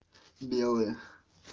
белые